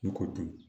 Ne ko dun